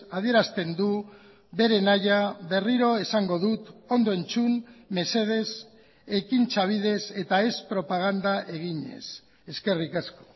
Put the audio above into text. adierazten du bere nahia berriro esango dut ondo entzun mesedez ekintza bidez eta ez propaganda eginez eskerrik asko